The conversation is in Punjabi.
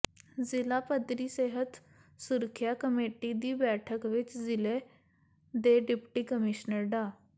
ਜ਼ਿਲ੍ਹਾ ਪੱਧਰੀ ਸਿਹਤ ਸੁਰੱਖਿਆ ਕਮੇਟੀ ਦੀ ਬੈਠਕ ਵਿੱਚ ਜ਼ਿਲ੍ਹੇ ਦੇ ਡਿਪਟੀ ਕਮਿਸ਼ਨਰ ਡਾ